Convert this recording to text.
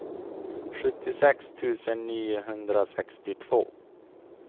sjuttiosex tusen niohundrasextiotvå